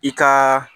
I ka